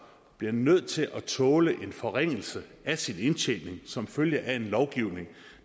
bliver nødt til at tåle en forringelse af sin indtjening som følge af en lovgivning